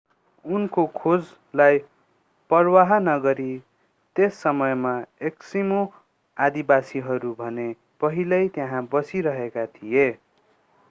उनको खोजलाई परवाह नगरी त्यस समयमा एस्किमो आदिवासीहरू भने पहिल्यै त्यहाँ बसिरहेका थिए